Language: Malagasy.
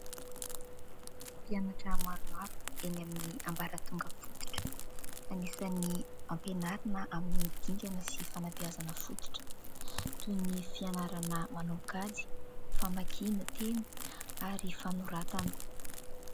Mpianatra maromaro eny amin'ny ambaratonga fototra. Anisan'ny ampianarina amin'ny dingana sy ny fanabeazana fototra toy ny fianarana manao kajy famakiana teny ary ny fanoratana.